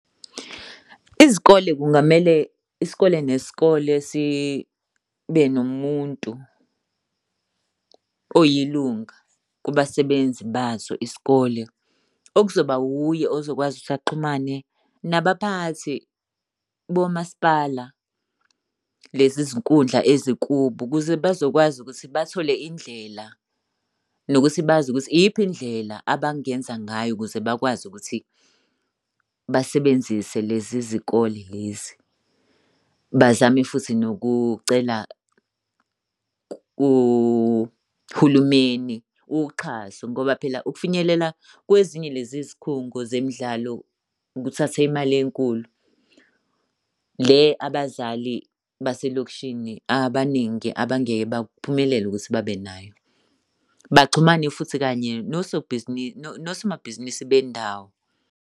Izikole kungamele isikole nesikole sibe nomuntu oyilunga kubasebenzi baso isikole. Okuzoba wuye ozokwazi ukuthi baxhumane nabaphathi bomasipala lezi zinkundla ezikubo ukuze bazokwazi ukuthi bathole indlela nokuthi bazi ukuthi iyiphi indlela abangenza ngayo ukuze bakwazi ukuthi basebenzise lezi zikole lezi. Bazame futhi nokucela kuhulumeni uxhaso ngoba phela ukufinyelela kwezinye lezi izikhungo zemidlalo kuthathe imali enkulu le abazali baselokishini abaningi abangeke baphumelele ukuthi babenayo. Baxhumane futhi kanye nosomabhizinisi bendawo.